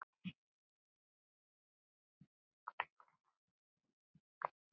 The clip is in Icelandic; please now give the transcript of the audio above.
Það er mjög hóflegt mat.